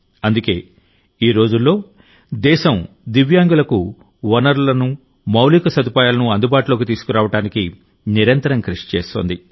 అందుకేఈ రోజుల్లో దేశం దివ్యాంగులకు వనరులను మౌలిక సదుపాయాలను అందుబాటులోకి తీసుకురావడానికి నిరంతరం కృషి చేస్తోంది